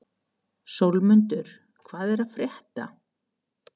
Sólmundur, hvað er að frétta?